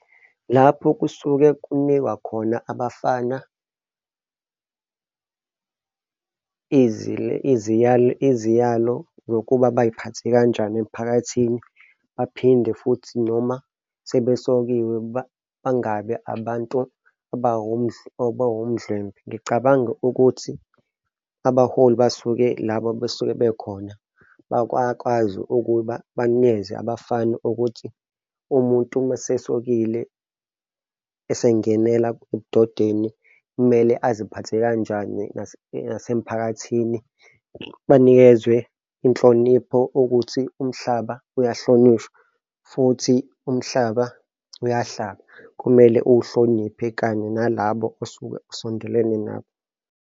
Lapho kusuke kunikwa khona abafana iziyalo, iziyalo zokuba bay'phathe kanjani emiphakathini, baphinde futhi noma sibesokiwe bangabi abantu abawomdlwembe. Ngicabange ukuthi abaholi basuke labo abasuke bekhona bakwazi ukuba banikeze abafani ukuthi umuntu uma esesokile esengenela ebudodeni kumele aziphathe kanjani nasemphakathini. Banikezwe inhlonipho ukuthi umhlaba uyahlonishwa futhi umhlaba uyahlaba, kumele uwuhloniphe kanye nalabo osuke usondelene nabo.